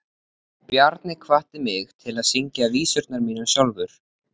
Bjarni hvatti mig til að syngja vísurnar mínar sjálfur.